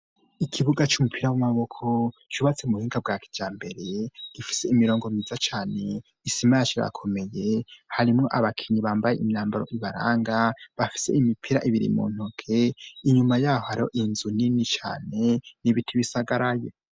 ikibuga c'umupira w'amaboko cyubatse mu buhinga bwa kiryambere gifise imirongo miza cyane isimayachirakomeye harimo abakinyi bambaye imyambaro ibaranga, bafise imipira ibiri mu ntoke inyuma yah aro inzu nini cyane n'ibiti bisagara ye.